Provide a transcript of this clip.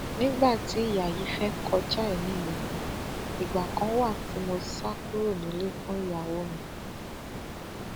nígbà tí ìyá yìí fẹẹ kọjá èmi mi ìgbà kan wà tí mo sá kúrò nílé fún ìyàwó mi